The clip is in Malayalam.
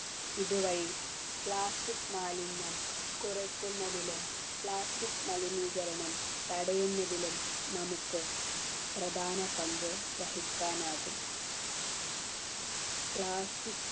ഇതുവഴി plastic മാലിന്യം കുറെ കുറയ്ക്കുന്നതിനും plastic മലിനീകരണം തടയുന്നതിലും നമുക്ക് പ്രധാന പങ്ക് വഹിക്കാനാകും plastic